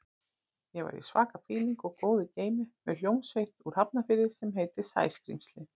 Ég var í svaka fíling og góðu geimi með hljómsveit úr Hafnarfirði sem heitir Sæskrímslin.